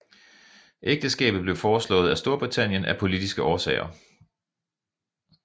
Ægteskabet blev foreslået af Storbritannien af politiske årsager